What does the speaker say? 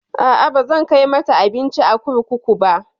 A'a, bazan kai mata abinci a kurkuku ba.